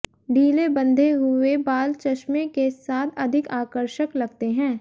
ढीले बंधे हुए बाल चश्मे के साथ अधिक आकर्षक लगते हैं